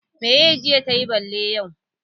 Meye jiya tayi bale yau?